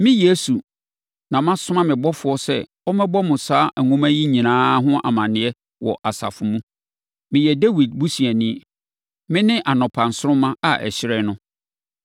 “Me, Yesu, na masoma me ɔbɔfoɔ sɛ ɔmmɛbɔ mo saa nwoma yi nyinaa ho amaneɛ wɔ asafo mu. Meyɛ Dawid busuani. Mene anɔpa nsoromma a ɛhyerɛn no.”